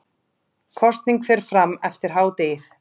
Kosning fer fram eftir hádegið